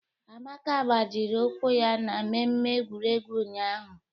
Amaka gbajiri ụkwụ ya na mmemme egwuregwu ụnyahụ